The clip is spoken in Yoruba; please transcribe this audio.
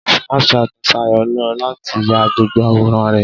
Snapchat ni Sayọ̀ lò láti ya gbogbo àwòrán rẹ̀.